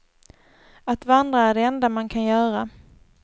Att vandra är det enda man kan göra.